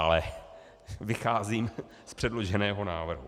Ale vycházím z předloženého návrhu.